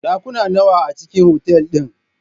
Ɗakuna nawa a cikn otal din?